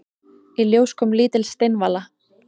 Í ljós kom lítil steinvala.